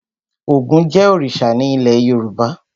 Ògún jẹ́ òrìṣà ní ilé Yorùbá.